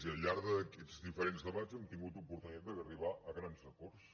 i al llarg d’aquests diferents debats hem tingut oportunitat d’arribar a grans acords